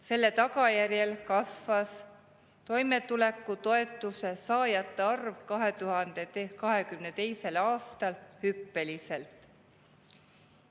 Selle tagajärjel kasvas toimetulekutoetuse saajate arv 2022. aastal hüppeliselt.